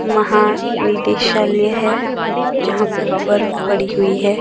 महानिदेशालय है जहां पर बर्फ पड़ी हुई है।